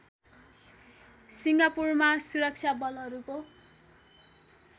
सिङ्गापुरमा सुरक्षा बलहरूको